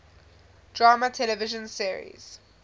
drama television series